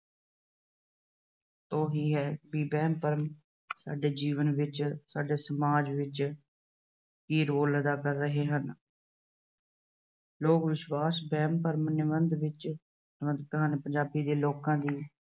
ਤੋਂ ਹੀ ਹੈ ਕਿ ਵਹਿਮ-ਭਰਮ ਸਾਡੇ ਜੀਵਨ ਵਿੱਚ, ਸਾਡੇ ਸਮਾਜ ਵਿੱਚ ਕੀ ਰੋਲ ਅਦਾ ਕਰ ਰਹੇ ਹਨ। ਲੋਕ ਵਿਸ਼ਵਾਸ ਵਹਿਮ-ਭਰਮ ਨਿਬੰਧ ਨਾਲ ਸਬੰਧਤ ਹਨ। ਪੰਜਾਬੀ ਦੇ ਲੋਕਾਂ ਦੀ